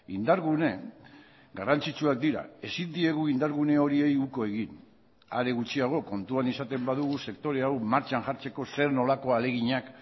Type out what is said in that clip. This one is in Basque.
indargune garrantzitsuak dira ezin diegu indargune horiei uko egin are gutxiago kontuan izaten badugu sektore hau martxan jartzeko zer nolako ahaleginak